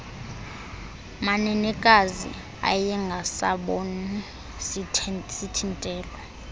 manenekazi ayengasaboni sithintelo